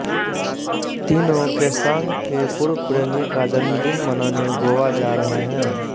तीनों केसांग के पूर्व प्रेमी का जन्मदिन मनाने गोवा जा रहे हैं